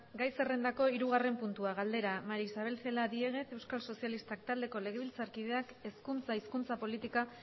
gai zerrendako hirugarren puntua galdera maría isabel celaá diéguez euskal sozialistak taldeko legebiltzarkideak hezkuntza hizkuntza politika